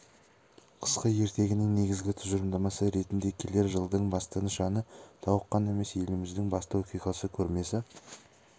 қысқы ертегінің негізгі тұжырымдамасы ретінде келер жылдың басты нышаны тауық қана емес еліміздің басты оқиғасы көрмесі